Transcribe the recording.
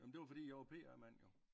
Jamen det var fordi jeg var PR mand jo